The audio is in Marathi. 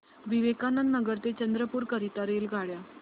विवेकानंद नगर ते चंद्रपूर करीता रेल्वेगाड्या